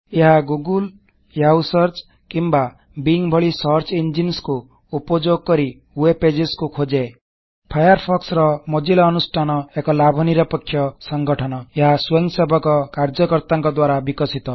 ଏହା googleୟାହୂ ସର୍ଚ୍ଚ କିମ୍ବା ବିଙ୍ଗ୍ ଭଳି ସର୍ଚ୍ଚ ଇଞ୍ଜିନ୍ସ ଖୋଜିବା ଯନ୍ତ୍ର କୁ ଉପଯୋଗ କରି ୱେବ୍ ପେଜସ୍ କୁ ଖୋଜେ ଫାୟାରଫୋକ୍ସର ମୋଜ଼ିଲ୍ଲା ଅନୁଷ୍ଠାନ ଏକ ଲାଭ ନିରପେଖ୍ୟ ସଂଗଠନ ଏହା ସ୍ବୟଂସେବକ କାର୍ଯ୍ୟକର୍ତ୍ତାକଂ ଦ୍ବାରା ବିକଶିତ